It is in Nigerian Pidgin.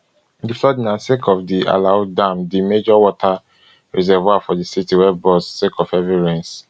di flooding na sake of di alau dam di major water reservoir for di city wey burst sake of heavy rains